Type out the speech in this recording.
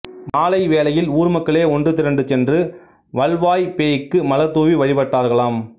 மாலை வேளையில் ஊர்மக்களே ஒன்றுதிரண்டு சென்று வல்வாய்ப் பேய்க்கு மலர் தூவி வழிபடுவார்களாம்